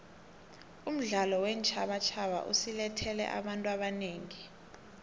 umdlalo weentjhabatjhaba usilethele abantu abanengi